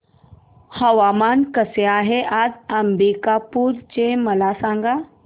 हवामान कसे आहे आज अंबिकापूर चे मला सांगा